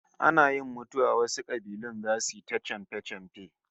Ana yin mutuwa wasu kabilun zasu yi ta chamfe-chamfe